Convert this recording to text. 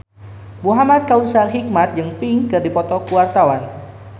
Muhamad Kautsar Hikmat jeung Pink keur dipoto ku wartawan